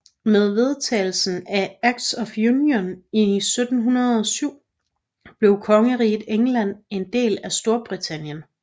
Med vedtagelsen af Acts of Union i 1707 blev Kongeriget England en del af Storbritannien